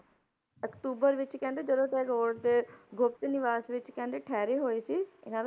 October ਵਿੱਚ ਕਹਿੰਦੇ ਜਦੋਂ ਟੈਗੋਰ ਦੇ ਗੁਪਤ ਨਿਵਾਸ ਵਿੱਚ ਕਹਿੰਦੇ ਠਹਿਰੇ ਹੋਏ ਸੀ ਇਹਨਾਂ